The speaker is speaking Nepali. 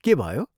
के भयो?